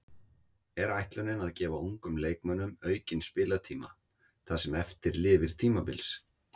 Er ætlunin að gefa ungum leikmönnum aukinn spilatíma það sem eftir lifir tímabils?